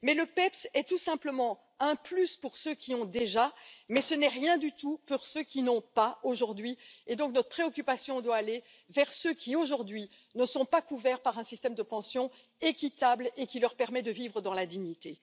Mais le PEPP est tout simplement un plus pour ceux qui ont déjà, mais ce n'est rien du tout pour ceux qui n'ont pas aujourd'hui, et donc notre préoccupation doit aller vers ceux qui aujourd'hui ne sont pas couverts par un système de pension équitable qui leur permet de vivre dans la dignité.